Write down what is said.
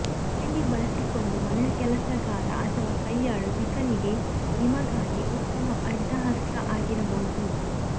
handy ಬಳಸಿಕೊಂಡು ಮನೆಕೆಲಸಗಾರ ಅಥವಾ ಕೈಯಾಳು ಬಿಕನ್ನಿಗೆ ನಿಮಗಾಗಿ ಉತ್ತಮ ಅಡ್ಡ ಹಸ್ಲ್ ಆಗಿರಬಹುದು